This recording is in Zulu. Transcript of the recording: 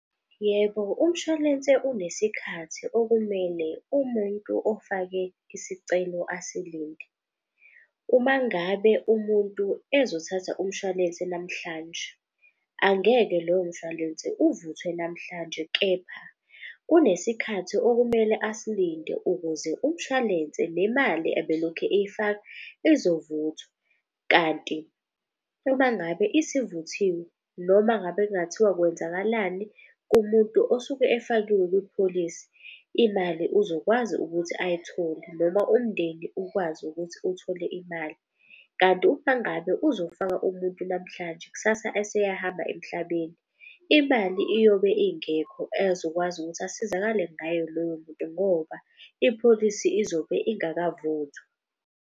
Yebo, umshwalense unesikhathi okumele umuntu ofake isicelo asilinde. Uma ngabe umuntu ezothatha umshwalense namhlanje, angeke lowo mshwalense uvuthwe namhlanje. Kepha kunesikhathi okumele asilinde ukuze umshwalense nemali abelokhu eyifaka izovuthwa. Kanti uma ngabe isivuthiwe noma ngabe kungathiwa kwenzakalani kumuntu osuke efakiwe kwipholisi. Imali uzokwazi ukuthi ayithole noma umndeni ukwazi ukuthi uthole imali. Kanti uma ngabe uzofaka umuntu namhlanje kusasa eseyahamba emhlabeni, imali iyobe ingekho ezokwazi ukuthi asizakale ngayo loyo muntu. Ngoba ipholisi izobe ingakavuthwa.